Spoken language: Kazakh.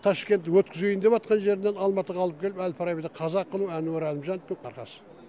ташкент өткізейін деватқан жерінен алматыға алып келіп әл фарабиді қазақ қылу әнуар әлімжановтың арқасы